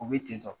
U bɛ ten tɔ